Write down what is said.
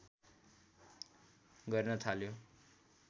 गर्न थाल्यो